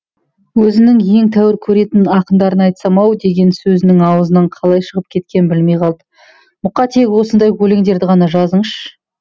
өзінің ең тәуір көретін ақындарына айтсам ау деген сөзінің аузынан қалай шығып кеткенін білмей қалды мұқа тек осындай өлеңдерді ғана жазыңызшы